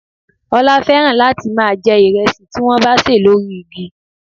Ola fẹ́ràn láti máa jẹ ìrẹsì tí wọ́n bá ṣè lórí igi